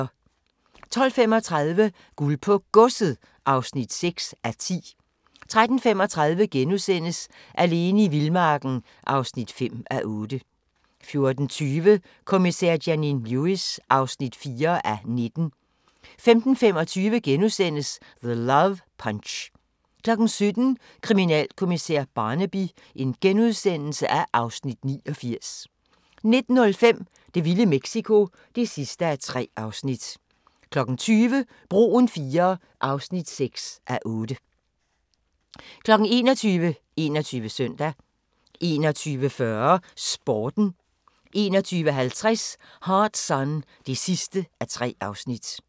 12:35: Guld på Godset (6:10) 13:35: Alene i vildmarken (5:8)* 14:20: Kommissær Janine Lewis (4:19) 15:25: The Love Punch * 17:00: Kriminalkommissær Barnaby (Afs. 89)* 19:05: Det vilde Mexico (3:3) 20:00: Broen IIII (6:8) 21:00: 21 Søndag 21:40: Sporten 21:50: Hard Sun (3:3)